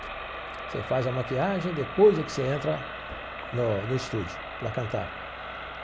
Você faz a maquiagem, depois é que você entra no no estúdio para cantar.